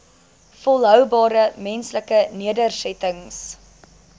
volhoubare menslike nedersettings